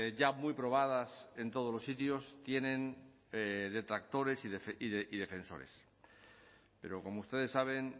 ya muy probadas en todos los sitios tienen detractores y defensores pero como ustedes saben